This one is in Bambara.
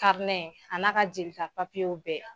a n'a ka jelita w bɛɛ